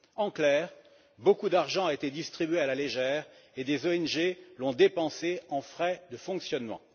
En clair, beaucoup d'argent a été distribué à la légère, et des ONG l'ont dépensé en frais de fonctionnement.